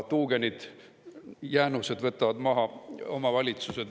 Tuugenite jäänused võtavad maha omavalitsused.